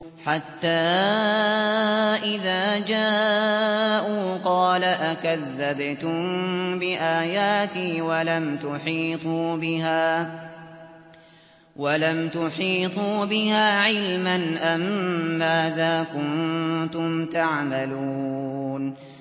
حَتَّىٰ إِذَا جَاءُوا قَالَ أَكَذَّبْتُم بِآيَاتِي وَلَمْ تُحِيطُوا بِهَا عِلْمًا أَمَّاذَا كُنتُمْ تَعْمَلُونَ